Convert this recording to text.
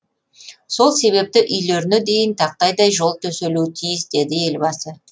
сол себепті үйлеріне дейін тақтайдай жол төселуі тиіс деді елбасы